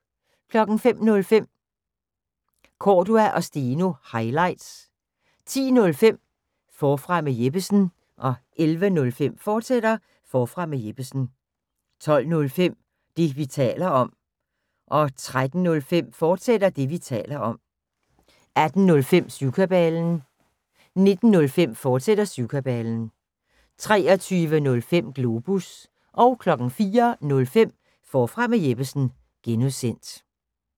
05:05: Cordua & Steno – highlights 10:05: Forfra med Jeppesen 11:05: Forfra med Jeppesen, fortsat 12:05: Det, vi taler om 13:05: Det, vi taler om, fortsat 18:05: Syvkabalen 19:05: Syvkabalen, fortsat 23:05: Globus 04:05: Forfra med Jeppesen (G)